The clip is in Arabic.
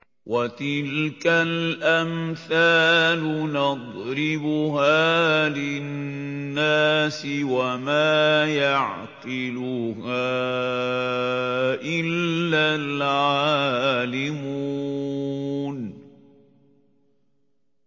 وَتِلْكَ الْأَمْثَالُ نَضْرِبُهَا لِلنَّاسِ ۖ وَمَا يَعْقِلُهَا إِلَّا الْعَالِمُونَ